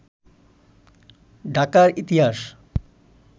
ঢাকার ইতিহাস